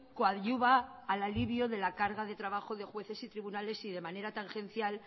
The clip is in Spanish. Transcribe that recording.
coadyuva al alivio de la carga de trabajo de jueces y tribunales y de manera tangencial